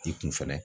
I kun fɛnɛ